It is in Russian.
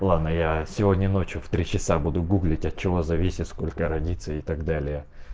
ладно я сегодня ночью в три часа буду гуглить от чего зависит сколько родится и так далее